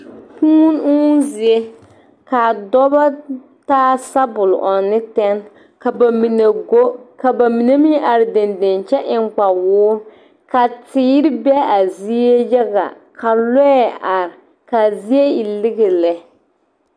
Kuuni uuŋ zie ka a dɔba taa sabol ɔŋnɔ ne tɛne ka ba mine go ka ba mine meŋ are deŋdeŋ kyɛ eŋ kpawoore ka teere be a zie yaga ka lɔɛ are ka zie e lige lɛ.